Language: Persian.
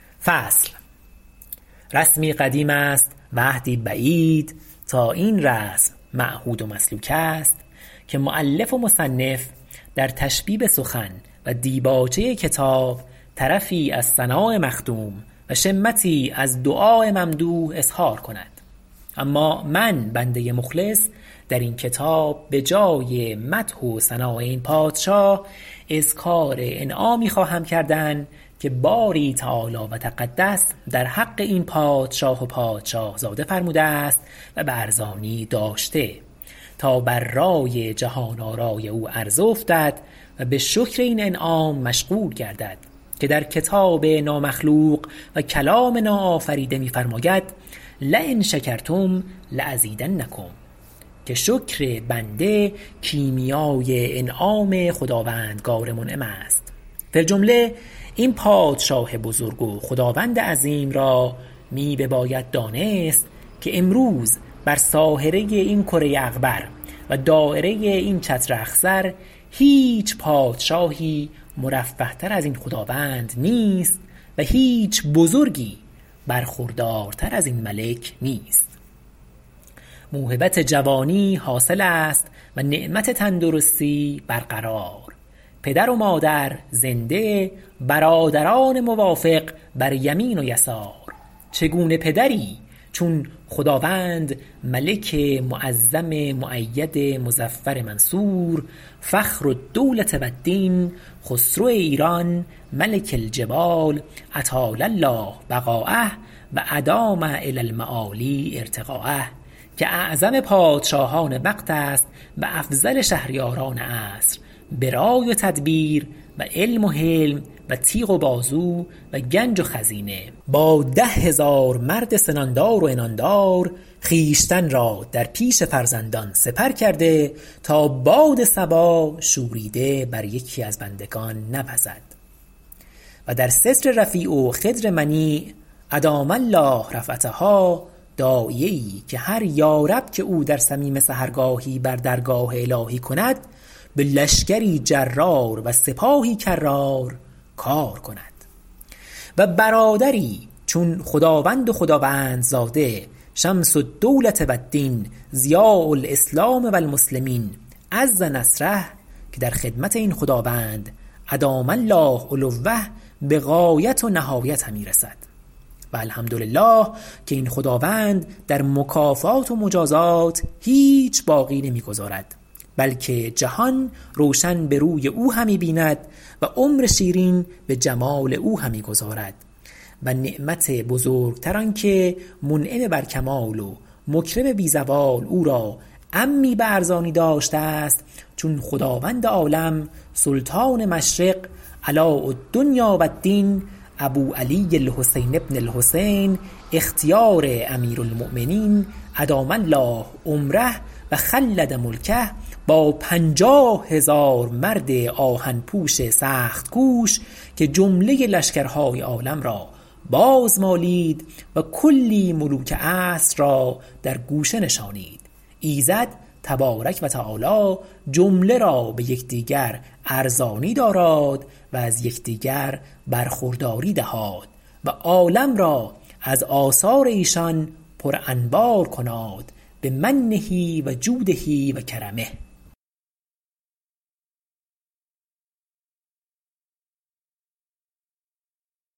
رسمی قدیم است و عهدی بعید تا این رسم معهود و مسلوک است که مؤلف و مصنف در تشبیب سخن و دیباچه کتاب طرفی از ثناء مخدوم و شمتی از دعاء ممدوح اظهار کند اما من بنده مخلص در این کتاب بجای مدح و ثناء این پادشاه اذکار انعامی خواهم کردن که باری تعالی و تقدس در حق این پادشاه و پادشاهزاده فرموده است و به ارزانی داشته تا بر رای جهان آرای او عرضه افتد و بشکر این انعام مشغول گردد که در کتاب نامخلوق و کلام ناآفریده می فرماید لین شکرتم لازیدنکم که شکر بنده کیمیای انعام خداوندگار منعم است فی الجمله این پادشاه بزرگ و خدواند عظیم را می بباید دانست که امروز بر ساهره این کره اغبر و در دایره این چتر اخضر هیچ پادشاهی مرفه تر ازین خداوند نیست و هیچ بزرگی برخوردارتر ازین ملک نیست موهبت جوانی حاصل است و نعمت تندرستی برقرار پدر و مادر زنده برادران موافق بر یمین و یسار چگونه پدری چون خداوند ملک معظم مؤید مظفر منصور فخرالدولة و الدین خسرو ایران ملک الجبال اطال الله بقاءه و ادام الی المعالی ارتقاءه که اعظم پادشاهان وقت است و افضل شهریاران عصر برای و تدبیر و علم و حلم و تیغ و بازو و گنج و خزینه با ده هزار مرد سنان دار و عنان دار خویشتن را در پیش فرزندان سپر کرده تا باد صبا شوریده بر یکی از بندگان نوزد و در ستر رفیع و خدر منیع ادام الله رفعتها داعیه ای که هر یا رب که او در صمیم سحرگاهی بر درگاه الهی کند به لشکری جرار و سپاهی کرار کار کند و برادری چون خداوند و خداوندزاده شمس الدولة و الدین ضیاء الاسلام و المسلمین عز نصره که در خدمت این خداوند ادام الله علوه بغایت و نهایت همی رسد و الحمدلله که این خداوند در مکافات و مجازات هیچ باقی نمیگذارد بلکه جهان روشن به روی او همی بیند و عمر شیرین به جمال او همی گذارد و نعمت بزرگتر آنکه منعم بر کمال و مکرم بی زوال او را عمی به ارزانی داشته است چون خداوند عالم سلطان مشرق علاء الدنیا و الدین ابوعلی الحسین بن الحسین اختیار امیرالمؤمین ادام الله عمره و خلد ملکه با پنجاه هزار مرد آهن پوش سخت کوش که جمله لشکر های عالم را بازمالید و کلی ملوک عصر را در گوشه نشاند ایزد تبارک و تعالی جمله را به یکدیگر ارزانی داراد و از یکدیگر برخورداری دهاد و عالم را از آثار ایشان پر انوار کناد بمنه وجوده و کرمه